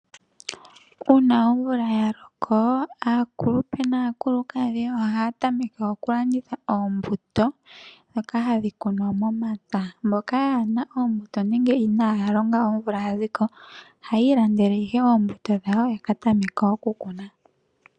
Uuna omvula yaloko aakulupe naakulukadhi ohaya tameke okulanditha oombuto ndhoka hadhi kunwa momapya. Mboka kaye na oombuto nenge inaaya longa mvogu ohaya landa oombuto ya ka tameke okukuna.